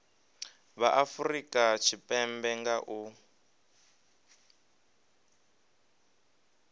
vha afurika tshipembe nga u